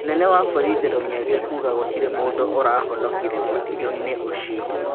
Mũnene wa borithi Rũnyenje kuga gũtirĩ mũndũ ũrahonokire mũtinoinĩ ũcio